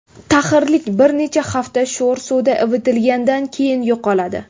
Taxirlik bir necha hafta sho‘r suvda ivitilgandan keyin yo‘qoladi.